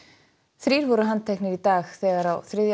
þrír voru handteknir í dag þegar á þriðja